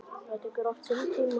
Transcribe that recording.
Það tekur oft sinn tíma.